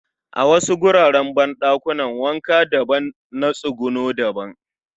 A wasu wuraren banɗakuna wanka daban na tsuguno daban